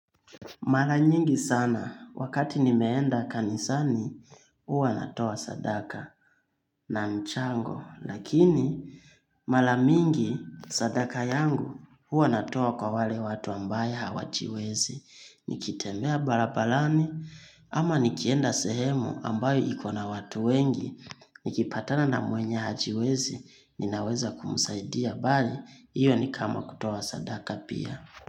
Mara nyingi sana, wakati nimeenda kanisani, huwa natoa sadaka na mchango, lakini, mara mingi sadaka yangu, huwa natoa kwa wale watu ambaye hawajiwezi, nikitemea barabarani, ama nikienda sehemu ambayo iko na watu wengi, nikipatana na mwenye hajiwezi, ninaweza kumsaidia bali, iyo ni kama kutoa sadaka pia.